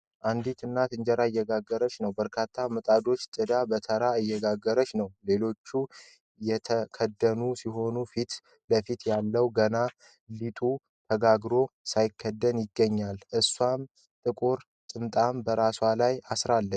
አንድት እናት እንጀራ እየጋገረች ነው ። በርካታ ምጣዶችን ጥዳ በተራ እየጋገረች ነው ። ሌሎቹ የተከደኑ ሲሆኑ ፊት ለፊት ያለው ገና ሊጡ ተጋግሮ ሳይከደን ይገኛል። እሷም ጥቁር ጥምጣም በራሷ ላይ አስራለች።